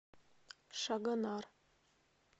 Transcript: шагонар